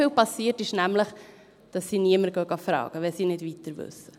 Denn was sehr oft geschieht, ist, dass sie niemanden fragen, wenn sie nicht weiterwissen.